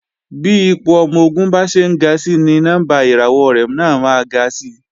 Bí ipò ọmọ-ogun bá ṣe ń ga si ni nọ́mbà ìràwọ̀ rẹ̀ náà máa ga si